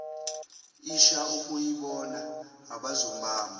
isha okuyibona abazobamba